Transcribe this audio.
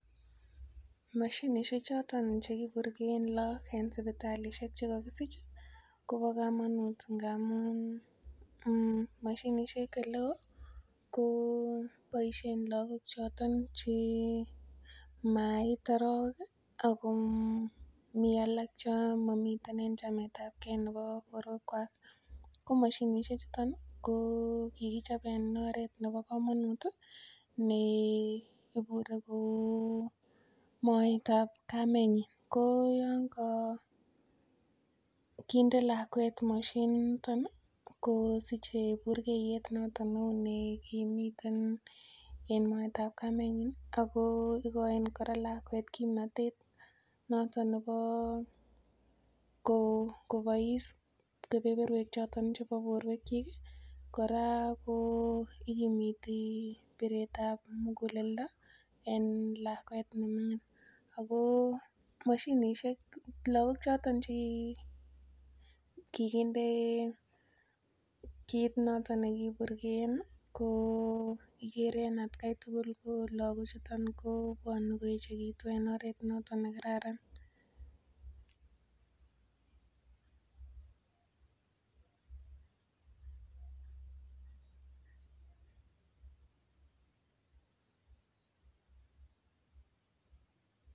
Mashinishek choton chekiburkeen lakok eng sipitali chekakisich Kobo komonut ngamun mashinishek eleo ko boishen lakok choton che mait arowek Ako mi alak che mamiten eng chamet ap kee nepo borwek kwach ko mashinishek chuton ko kirichop eng oret nepokamonut ne ibure kou moet ap kamet ko yon kakinde lakwet mashinit noton ko sichei burkeiyet noton neu nekimiten en moet ap kametnyi ako ikoini kora lakwet kimnotet noton nebo kobois kepeperwek choton chebo borwek cho kora ko ikimiti biret ap muguleldo en lakwet nemining ako mashinishek lakok choton chekikinde mashinit noton nekipurkeen ko kikere lakochuton ko bwoni koechekitun en oret noton nekararan.